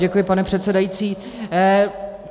Děkuji, pane předsedající.